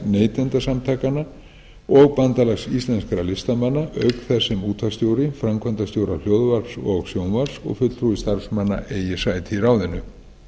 neytendasamtakanna og bandalags íslenskra listamanna auk þess sem útvarpsstjóri framkvæmdastjórar hljóðvarps og sjónvarps og fulltrúi starfsmanna eigi sæti í ráðinu